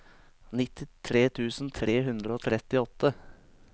nittitre tusen tre hundre og trettiåtte